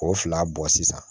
K'o fila bɔ sisan